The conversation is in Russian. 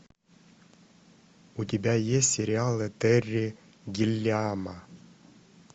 у тебя есть сериалы терри гиллиама